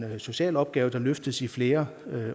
social opgave løftes i flere